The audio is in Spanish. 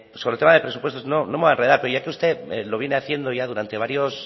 sobre todo de presupuestos no me voy a enredar pero ya que usted lo viene haciendo ya